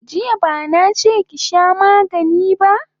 Jiya bana che ki sha magani ba!